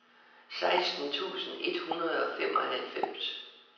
seksten tusind et hundrede og femoghalvfems